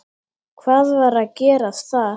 Hvað var að gerast þar?